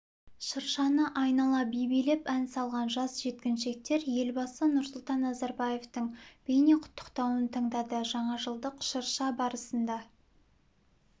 шыршаны айнала би билеп ән салған жас жеткіншектер елбасы нұрсұлтан назарбаевтың бейнеқұттықтауын тыңдады жаңажылдық шырша барысында